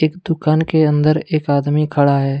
एक दुकान के अंदर एक आदमी खड़ा है।